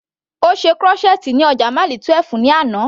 Ó ṣe crochet ní ọjà Mile 12 ní àná.